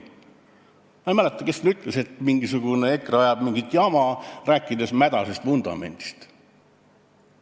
Ma ei mäleta, kes seda ütles, et mingisugune EKRE ajab mingit jama, rääkides mädasest vundamendist.